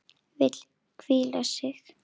Vill hvíla sig.